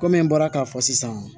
Kɔmi n bɔra k'a fɔ sisan